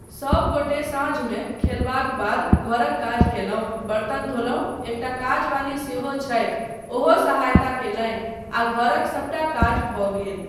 सबगोटे साँझमे खेलबाक बाद घरक काज कयलहुँ, बर्तन धोलहुँ, एकटा काजवाली सेहो छथि ओहो सहायता कयलनि आ घरक सबटा काज भऽ गेल।